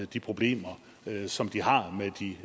de problemer som de har